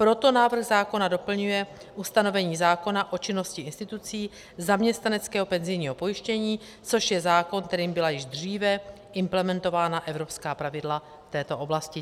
Proto návrh zákona doplňuje ustanovení zákona o činnosti institucí zaměstnaneckého penzijního pojištění, což je zákon, kterým byla již dříve implementována evropská pravidla v této oblasti.